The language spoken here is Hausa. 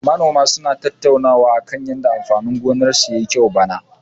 Manoma suna tattaunawa akan yanda amfanin gonarsu ya yi kyau bana.